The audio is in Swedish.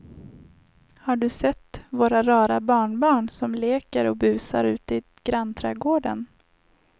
Har du sett våra rara barnbarn som leker och busar ute i grannträdgården!